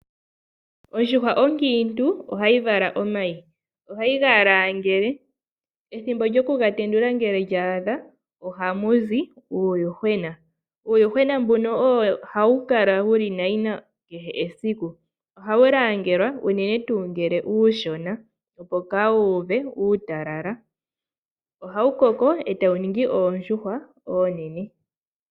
Ondjuhwa onkiintu ohayi vala omayi etayi ga langele. Ngele ethimbo lya adha ohaga tenduka eta mu zi uuyuhwena. Uuyuhwena ohawu kala nayina sigo tawu koko. Ohawu langelwa opo kaa wu uve uutalala. Ngele wa koko ohawu ningi oondjuhwa oonene.